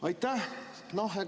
Aitäh!